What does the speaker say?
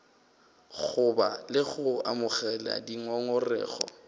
goba le go amogela dingongorego